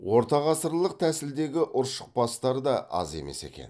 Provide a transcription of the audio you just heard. ортағасырлық тәсілдегі ұршықбастар да аз емес екен